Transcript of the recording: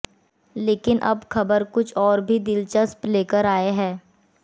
लेकिन अब खबर कुछ और भी दिलचस्प लेकर आए हैं